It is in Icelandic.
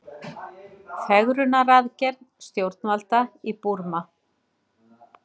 Fegrunaraðgerð stjórnvalda í Búrma